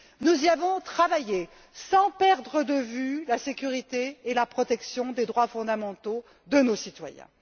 Nous y avons travaillé sans perdre de vue la sécurité et la protection des droits fondamentaux de nos citoyens.